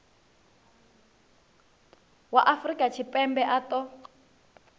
wa afrika tshipembe a ṱo